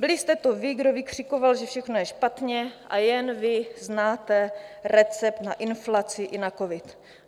Byli jste to vy, kdo vykřikoval, že všechno je špatně a jen vy znáte recept na inflaci i na covid.